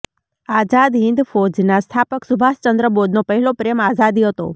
આઝાદ હિંદ ફોજના સ્થાપક સુભાષ ચંદ્ર બોઝનો પહેલો પ્રેમ આઝાદી હતો